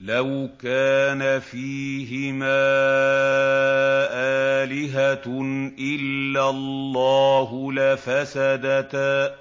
لَوْ كَانَ فِيهِمَا آلِهَةٌ إِلَّا اللَّهُ لَفَسَدَتَا ۚ